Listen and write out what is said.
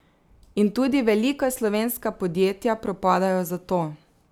In tudi velika slovenska podjetja propadajo zato.